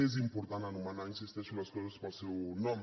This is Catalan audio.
és important anomenar hi insisteixo les coses pel seu nom